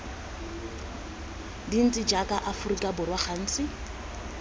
dintsi jaaka aforika borwa gantsi